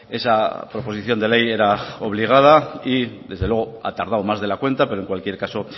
esa proposición de ley era obligada y desde luego ha tardado más de cuenta pero en cualquier caso